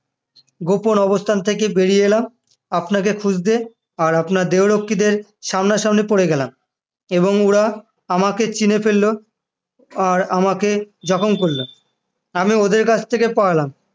গোপন অবস্থান থেকে বেরিয়ে এলাম আপনাকে খুঁজতে আর আপনার দেহরক্ষীদের সামনাসামনি পড়ে গেলাম এবং ওরা আমাকে চিনে ফেলল আর আমাকে জখম করল আমি ওদের কাছ থেকে পালালাম